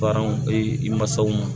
Paran e mansaw ma